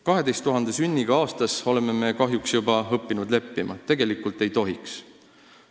" Me oleme kahjuks juba õppinud leppima 12 000 sünniga aastas, kuigi tegelikult ei tohiks.